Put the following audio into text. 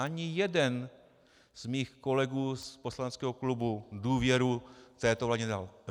Ani jeden z mých kolegů z poslaneckého klubu důvěru této vládě nedal.